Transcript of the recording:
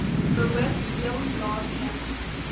behoort heel laaste